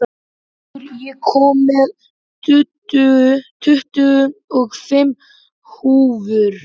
Otur, ég kom með tuttugu og fimm húfur!